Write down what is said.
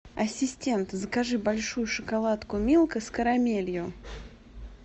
ассистент закажи большую шоколадку милка с карамелью